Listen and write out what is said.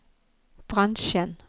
bransjen